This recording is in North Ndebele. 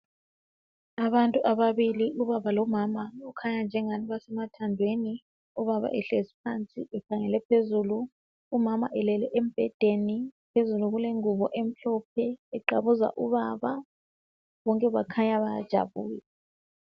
Abantu ababili ubaba lomama , okukhanya nje angani basemathandweni ubaba ehlezi phansi ekhangele phezulu , umama elele embhedeni , phezulu kulengubo emhlophe eqabuza ubaba , bonke kukhanya bayajabula